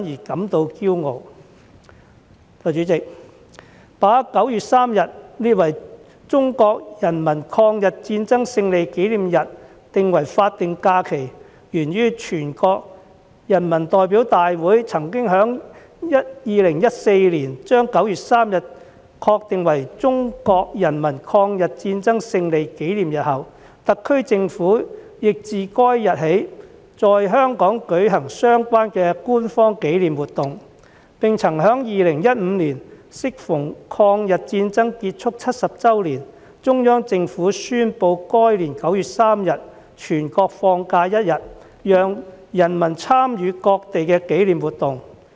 代理主席，把9月3日列為中國人民抗日戰爭勝利紀念日定為法定假期，源於全國人民代表大會曾在2014年把9月3日確定為中國人民抗日戰爭勝利紀念日後，特區政府亦自該日起，在香港舉行相關的官方紀念活動，並曾在2015年適逢抗日戰爭結束70周年，中央政府宣布該年9月3日全國放假一天，讓人民參與各地的紀念活動。